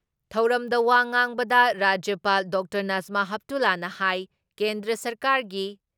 ꯊꯧꯔꯝꯗ ꯋꯥ ꯉꯥꯡꯕꯗ ꯔꯥꯖ꯭ꯌꯄꯥꯜ ꯗꯣꯛꯇꯔ ꯅꯁꯃꯥ ꯍꯦꯞꯇꯨꯂꯥꯅ ꯍꯥꯏ ꯀꯦꯟꯗ꯭ꯔ ꯁꯔꯀꯥꯔꯒꯤ